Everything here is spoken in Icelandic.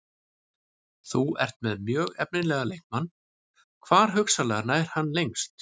Þú ert með mjög efnilegan leikmann, hvar hugsanlega nær hann lengst?